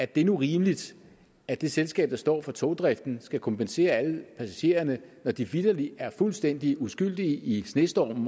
det nu rimeligt at det selskab der står for togdriften skal kompensere alle passagererne når de vitterlig er fuldstændig uskyldige i snestormen